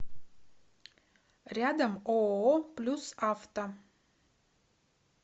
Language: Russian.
рядом ооо плюс авто